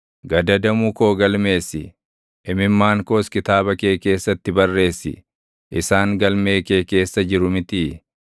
Gadadamu koo galmeessi; imimmaan koos kitaaba kee keessatti barreessi; isaan galmee kee keessa jiru mitii?